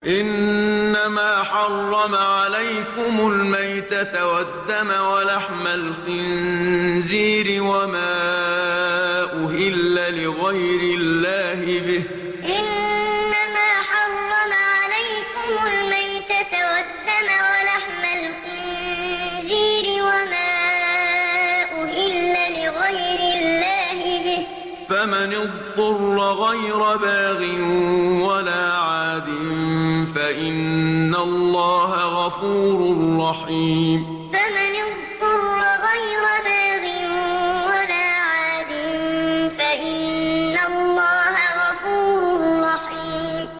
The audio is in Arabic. إِنَّمَا حَرَّمَ عَلَيْكُمُ الْمَيْتَةَ وَالدَّمَ وَلَحْمَ الْخِنزِيرِ وَمَا أُهِلَّ لِغَيْرِ اللَّهِ بِهِ ۖ فَمَنِ اضْطُرَّ غَيْرَ بَاغٍ وَلَا عَادٍ فَإِنَّ اللَّهَ غَفُورٌ رَّحِيمٌ إِنَّمَا حَرَّمَ عَلَيْكُمُ الْمَيْتَةَ وَالدَّمَ وَلَحْمَ الْخِنزِيرِ وَمَا أُهِلَّ لِغَيْرِ اللَّهِ بِهِ ۖ فَمَنِ اضْطُرَّ غَيْرَ بَاغٍ وَلَا عَادٍ فَإِنَّ اللَّهَ غَفُورٌ رَّحِيمٌ